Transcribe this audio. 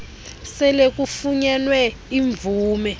sele kufunyenwe imvume